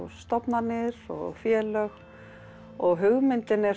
stofnanir og félög og hugmyndin er